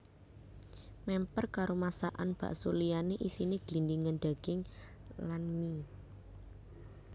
Mèmper karo masakan basko liyané isiné glindhingan daging lan mie